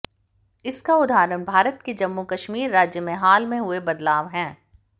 इसका उदाहरण भारत के जम्मू कश्मीर राज्य में हाल में हुए बदलाव हैं